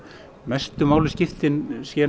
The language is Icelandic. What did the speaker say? mestu máli skiptir séu